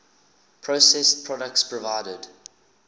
processed products provided